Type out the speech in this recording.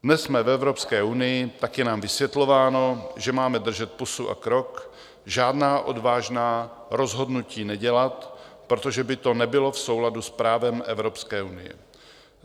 Dnes jsme v Evropské unii, tak je nám vysvětlováno, že máme držet pusu a krok, žádná odvážná rozhodnutí nedělat, protože by to nebylo v souladu s právem Evropské unie.